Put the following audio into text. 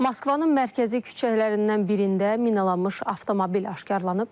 Moskvanın mərkəzi küçələrindən birində minalanmış avtomobil aşkarlanıb.